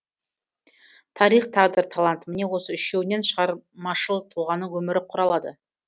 тарих тағдыр талант міне осы үшеуінен шығармашыл тұлғаның өмірі құралады